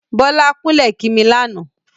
Bọ́lá kúnlẹ̀ kí mi lánàá.